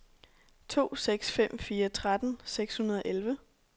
to seks fem fire tretten seks hundrede og elleve